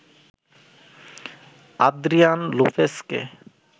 Adrian লোপেসকে